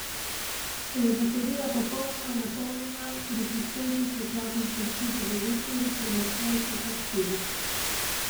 Če je baterija popolnoma napolnjena, pri šibkejši svetlobi zdrži do devet ur, pri močnejši pa štiri.